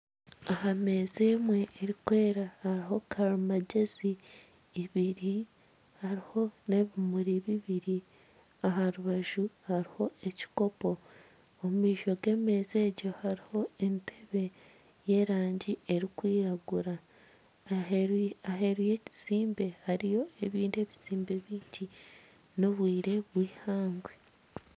Aha meeza emwe erikwera hariho karamagyezi ibiri, hariho n'ebimuri bibiri aha rubaju hariho n'ekikopo hariho entebe y'erangi erikwiragura, aheeru y'ekizimbe hariyo ebizimbe bingi n'obwire bwihangwe